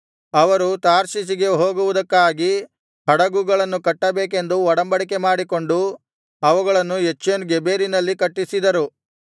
ಅವರು ತಾರ್ಷೀಷಿಗೆ ಹೋಗುವುದಕ್ಕಾಗಿ ಹಡುಗುಗಳನ್ನು ಕಟ್ಟಬೇಕೆಂದು ಒಡಬಂಡಿಕೆ ಮಾಡಿಕೊಂಡು ಅವುಗಳನ್ನು ಎಚ್ಯೋನ್ ಗೆಬೆರಿನಲ್ಲಿ ಕಟ್ಟಿಸಿದರು